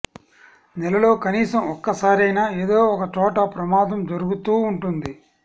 నెలలో కనీసం ఒక్కసారయినా ఏదో ఒక చోట ప్రమాదం జరుగుతూ ఉంటుంది